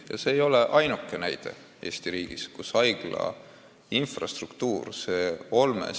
Ja see ei ole ainuke näide Eesti riigis, kus haigla infrastruktuur on nii halb.